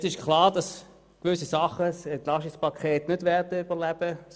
Es ist klar, dass gewisse Elemente aus dem EP die Debatte nicht überleben werden.